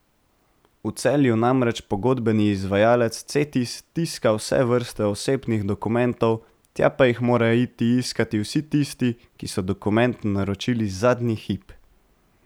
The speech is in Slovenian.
V Celju namreč pogodbeni izvajalec Cetis tiska vse vrste osebnih dokumentov, tja pa jih morajo iti iskat vsi tisti, ki so dokument naročili zadnji hip.